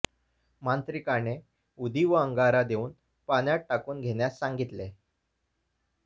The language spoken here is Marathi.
मांत्रिकाने उदी व अंगारा देऊन पाण्यात टाकून घेण्यास सांगतले